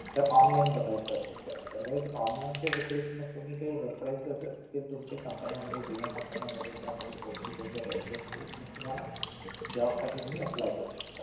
जर online बघायचं असेल तर otherwise online च्या व्यतरिक्त मग तुम्ही काही reference असतील तुमचे company जुना company मध्ये किंवा कोणी ओळखीचे जर REFERENCE देईल मग तुम्हाला job साठी तुम्ही apply करू शकता